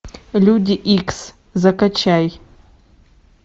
люди икс закачай